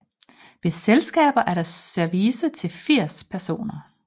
Ved selskaber er der service til 80 personer